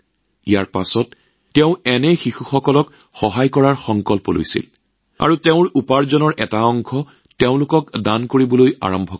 ইয়াৰ পিছতে তেওঁ এনে শিশুক সহায় কৰাৰ প্ৰতিজ্ঞা লৈ নিজৰ উপাৰ্জনৰ এটা অংশ তেওঁলোকক দান কৰিবলৈ আৰম্ভ কৰে